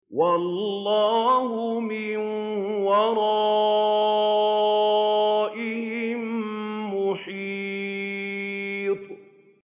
وَاللَّهُ مِن وَرَائِهِم مُّحِيطٌ